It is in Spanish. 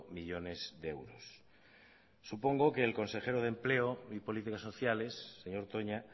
millónes de euros supongo que el consejero de empleo y políticas sociales señor toña